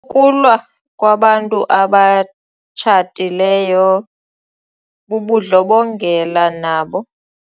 Ukulwa kwabantu abatshatileyo bubundlobongela nabo.